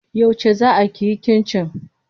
Yauce zaa kiyi cincin?